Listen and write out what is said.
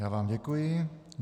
Já vám děkuji.